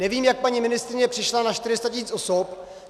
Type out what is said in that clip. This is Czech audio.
Nevím, jak paní ministryně přišla na 400 tisíc osob.